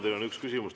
Teile on üks küsimus.